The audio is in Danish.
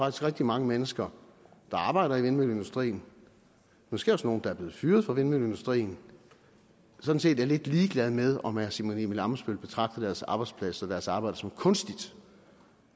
at rigtig mange mennesker der arbejder i vindmølleindustrien måske også nogle der er blevet fyret fra vindmølleindustrien sådan set er lidt ligeglade med om herre simon emil ammitzbøll betragter deres arbejdsplads og deres arbejde som kunstigt